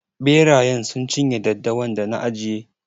Ɓerayen sun cin ye daddawan da na ajiye.